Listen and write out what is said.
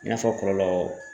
I n'a fɔ kɔlɔlɔw